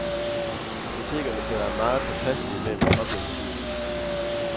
Apotekerne skal være meget påpasselige med at være objektive.